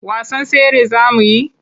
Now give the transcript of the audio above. Wasan tsere za mu yi?